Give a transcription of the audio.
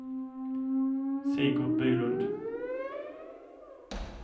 Sigurd Bylund